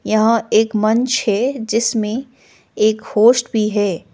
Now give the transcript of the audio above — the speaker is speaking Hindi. यहाँ एक मंच है जिसमें एक होस्ट भी है।